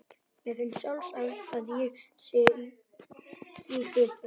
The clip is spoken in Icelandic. Mér finnst sjálfsagt að ég sé í því hlutverki.